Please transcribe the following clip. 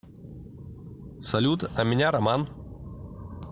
салют а меня роман